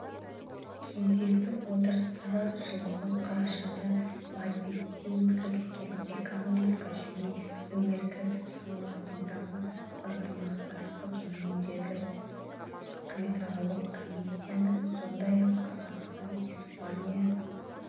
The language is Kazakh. кезекті отырыстары жылғы қарашада мадридте өткізілген экономика және өнеркәсіп саласындағы ынтымақтастық жөніндегі үкіметаралық комиссияның сондай-ақ қазақстан-испания